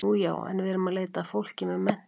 Nú já, en við erum að leita að fólki með menntun.